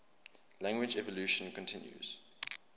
language evolution continues